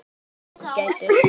Annars ertu ágætur.